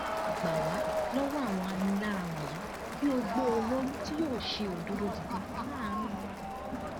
gbà wá lọwọ àwọn aninilára wọnyí kí o gbé olórí tí yóò ṣe òdodo dìde láàrin wa